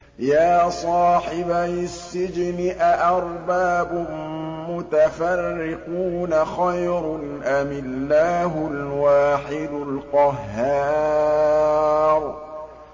يَا صَاحِبَيِ السِّجْنِ أَأَرْبَابٌ مُّتَفَرِّقُونَ خَيْرٌ أَمِ اللَّهُ الْوَاحِدُ الْقَهَّارُ